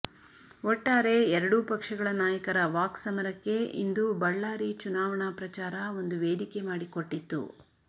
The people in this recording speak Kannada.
ಒಟ್ಟಾರೆ ಎರಡೂ ಪಕ್ಷಗಳ ನಾಯಕರ ವಾಕ್ಸಮರಕ್ಕೆ ಇಂದು ಬಳ್ಳಾರಿ ಚುನಾವಣಾ ಪ್ರಚಾರ ಒಂದು ವೇದಿಕೆ ಮಾಡಿಕೊಟ್ಟಿತ್ತು